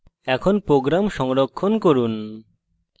এখন program সংরক্ষণ করুন